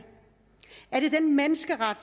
er det den menneskeret